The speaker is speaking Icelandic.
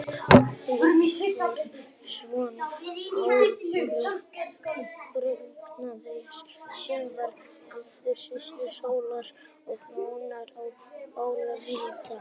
Lúsífer var sonur Áróru, dagrenningarinnar, sem var aftur systir sólar og mána og móðir vinda.